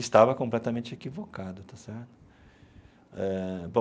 Estava completamente equivocado está certo eh bom.